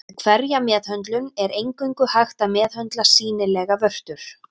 Við hverja meðhöndlun er eingöngu hægt að meðhöndla sýnilegar vörtur.